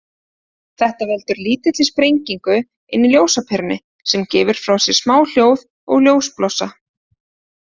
Þetta veldur lítilli sprengingu inni í ljósaperunni, sem gefur frá sér smá hljóð og ljósblossa.